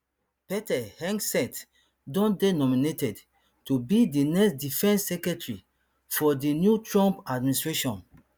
pete hegseth don dey nominated to be di next defence secretary for di new trump administration